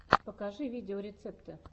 покажи видеорецепты